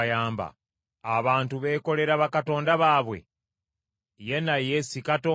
Abantu beekolera bakatonda baabwe? Ye, naye si Katonda!